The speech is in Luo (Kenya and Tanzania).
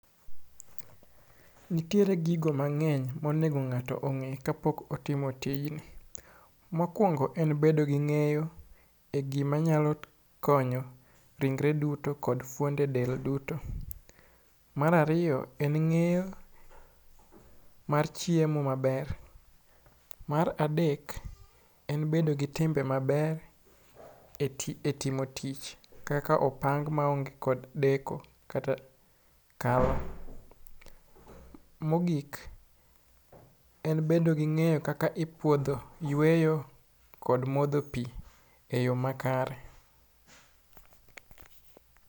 Nitiere gigo mang'eny monego ng'ato ong'e kapok otimo tijni. Mokuongo en bedo gi ng'eyo e gima nyalo konyo ringre duto kod fuonde del duto. Mar ariyo en ng'eyo mar chiemo maber. Mar adek en bedo gi timbe maber etimo tich kaka opang maonge kod deko kata kaw. Mogik, en bedo ging'eyo kaka ipuodho yueyo kod modho pi eyo makare.